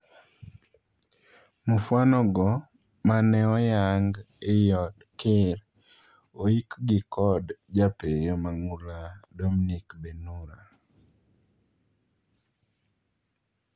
Mufwano go maneoyang ei od ker oiik gi kod japeeyo mang'ula Dominic Benhura.